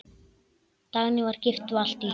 Dagný var gift Valtý.